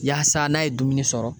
Yaasa n'a ye dumuni sɔrɔ